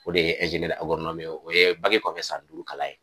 O de ye ye, o ye kɔfɛ san duuru kalan ye.